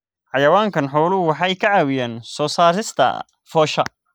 Xayawaanka xooluhu waxay ka caawiyaan soo saarista foosha.